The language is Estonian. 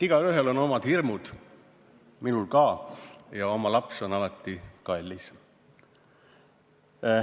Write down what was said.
Igaühel on omad hirmud, minul ka, ja oma laps on alati kallis.